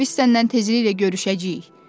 amma biz səndən tezliklə görüşəcəyik.